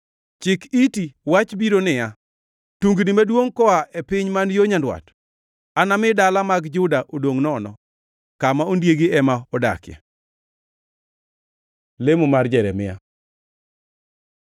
Chik iti! Wach biro niya, tungni maduongʼ koa e piny man yo nyandwat! Anami dala mag Juda odongʼ nono, kama ondiegi ema odakie. Lemo mar Jeremia